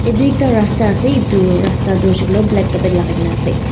edu ekta rasta ase edu rasta tu hoishey koilae black lakai kaena ase.